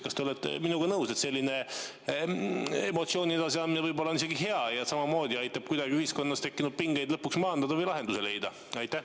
Kas te olete minuga nõus, et selline emotsiooni edasiandmine on võib-olla isegi hea ja samamoodi aitab ühiskonnas tekkinud pingeid lõpuks maandada või lahendusi leida?